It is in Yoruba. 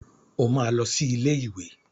O máa lọ sí ilé ìwé.